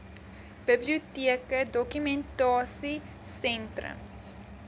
biblioteke dokumentasie sentrums